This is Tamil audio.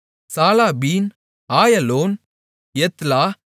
சாலாபீன் ஆயலோன் யெத்லா